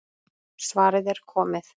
Svarið er komið.